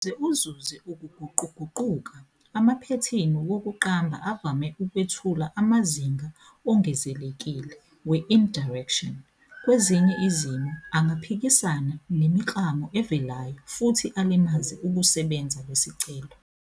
Ukuze uzuze ukuguquguquka, amaphethini wokuqamba avame ukwethula amazinga ongezekile we- indirection, kwezinye izimo angaphikisana nemiklamo evelayo futhi alimaze ukusebenza kwesicelo.